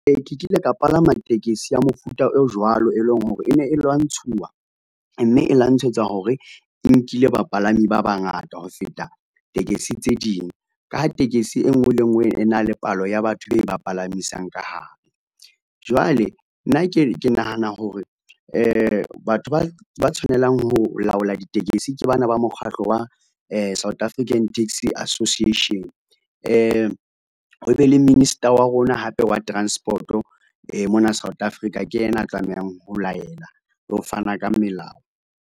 Ee, ke kile ka palama tekesi ya mofuta o jwalo e leng hore e ne e lwantshuwa mme e lwantshetswa hore e nkile bapalami ba bangata ho feta tekesi tse ding, ka ha tekesi enngwe le enngwe e na le palo ya batho e ba palamisang ka hare. Jwale nna ke nahana hore batho ba tshwanelang ho laola ditekesi ke bana ba mokgahlo wa South African Taxi Association , ho be le Minister wa rona hape wa Transport-o mona South Africa ke ena a tlamehang ho laela, le ho fana ka melao.